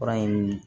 Fura in